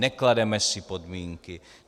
Neklademe si podmínky.